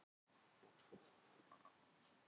Ég man eftir mörgum trúboðum sem stóðu að samkomum.